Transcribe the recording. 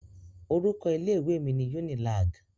Orúkọ ilé mi ni Unilag.